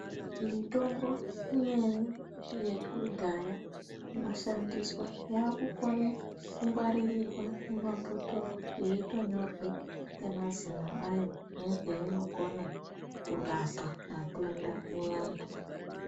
Mitombo imweni yekudhaya inoshandiswa yakukone kungwaririrwe kumabhotoro yeitonyorwe ngemazino anyo nezvainokone kurapa matenda muvantu.